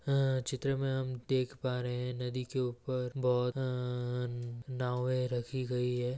चित्र में हम देख पा रहे है नदी के ऊपर बहुत नावये रखी गई है ।